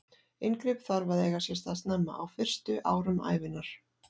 Inngrip þarf að eiga sér stað snemma, á fyrstu árum ævinnar.